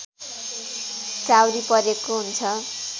चाउरी परेको हुन्छ